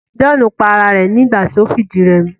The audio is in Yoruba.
John pa ara rẹ̀ nígbà ti o fìdírẹmi